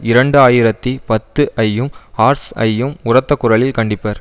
இரண்டு ஆயிரத்தி பத்து ஐயும் ஹார்ட்ஸ் ஐயும் உரத்த குரலில் கண்டிப்பர்